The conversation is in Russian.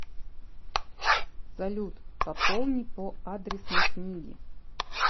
салют пополни по адресной книге